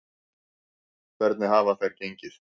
Hvernig hafa þær gengið?